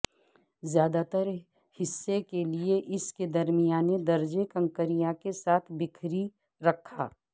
زیادہ تر حصے کے لیے اس کے درمیانے درجے کنکریاں کے ساتھ بکھری رکھا